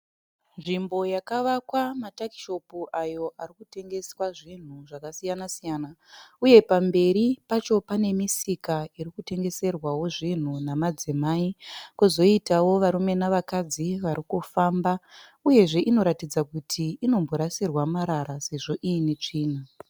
Nzvimbo yakavakwa matakishopu ayo arikutengeswa zvinhu zvakasiyana siyana. Uye pamberi pacho pane misika irikutengeserwawo zvinhu nemadzimai . Pozoitowo varume navakadzi varikufamba. Uyezve inoratidza kuti inomborasirwa marara sezvo iine tsvina.